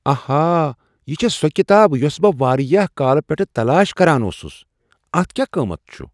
آہا! یہ چھےٚ سہ کتاب یۄسہ بہٕ واریاہ کالہٕ پیٚٹھٕ تلاش کران اوسُس۔ اتھ کیا قۭمتھ چھ؟